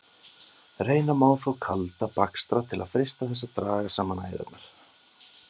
Reyna má þó kalda bakstra til að freista þess að draga saman æðarnar.